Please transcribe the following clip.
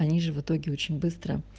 они же в итоге очень быстро